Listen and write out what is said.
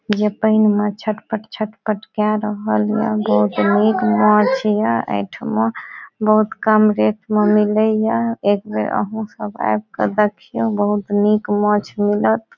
जे पाएन में छटपट-छटपट के रहल ये बहुत नीक माच्छ ये ए ठामा बहुत कम रेट में मिले ये एक बेर आहो सब आएब के देखीयो बहुत नीक माछ मिलएत ।